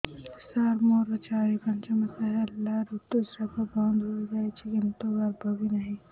ସାର ମୋର ଚାରି ପାଞ୍ଚ ମାସ ହେଲା ଋତୁସ୍ରାବ ବନ୍ଦ ହେଇଯାଇଛି କିନ୍ତୁ ଗର୍ଭ ବି ନାହିଁ